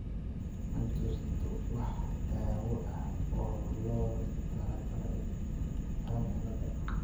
Ma jirto wax daawo ah oo loogu talagalay Cohen ciilada.